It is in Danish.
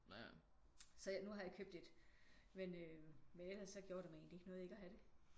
Så nu har jeg købt et men øh men ellers så gjorde det mig egentlig ikke noget ikke at have det